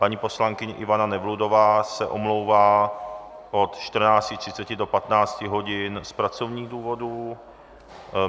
Paní poslankyně Ivana Nevludová se omlouvá od 14.30 do 15 hodin z pracovních důvodů.